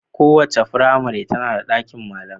Kowace firmare tana da ɗakin malamai.